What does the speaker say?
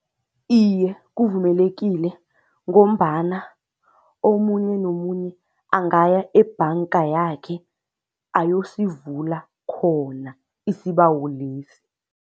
Iye, kuvumelekile ngombana omunye nomunye angaya ebhanga yakhe ayosivula khona isibawo lesi.